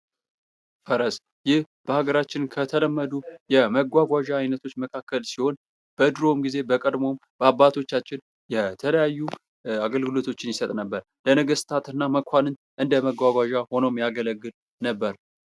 ፈረስ ይህ በሃገራችን ከተለመዱ የመጓጓዣ አይነቶች መካከል ሲሆን በድሮ ጊዜ በቀድሞ በአባቶቻችን የተለያዩ አገልግሎቶችን ይሰጥ ነበር። ለነገስታት እና መኳንንት እንደ መጓጓዣ ሆኖ የሚያገለግል ነበር።